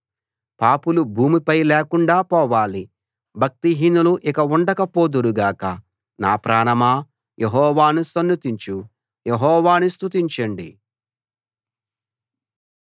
పాపులు భూమిపై లేకుండా పోవాలి భక్తిహీనులు ఇక ఉండకపోదురు గాక నా ప్రాణమా యెహోవాను సన్నుతించు యెహోవాను స్తుతించండి